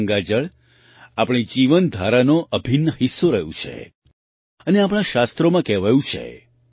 ગંગા જળ આપણી જીવનધારાનો અભિન્ન હિસ્સો રહ્યું છે અને આપણાં શાસ્ત્રોમાં કહેવાયું છે